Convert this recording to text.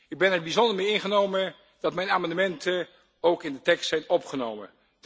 Ik ben er bijzonder mee ingenomen dat mijn amendementen ook in de tekst zijn opgenomen.